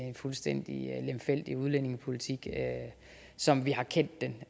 en fuldstændig lemfældig udlændingepolitik som vi har kendt den